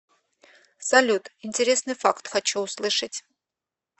салют интересный факт хочу услышать